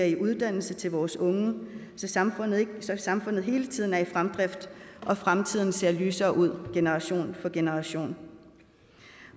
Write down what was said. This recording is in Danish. i uddannelse til vores unge så samfundet samfundet hele tiden er i fremdrift og fremtiden ser lysere ud generation for generation